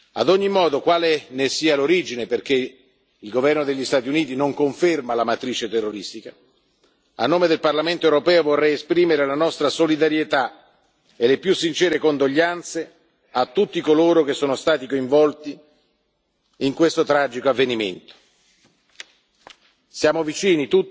Ad ogni modo, quale ne sia l'origine, perché il governo degli Stati Uniti non conferma la matrice terroristica, a nome del Parlamento europeo vorrei esprimere la nostra solidarietà e le più sincere condoglianze a tutti coloro che sono stati coinvolti in questo tragico avvenimento siamo tutti vicini